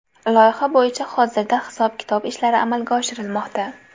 Loyiha bo‘yicha hozirda hisob-kitob ishlari amalga oshirilmoqda.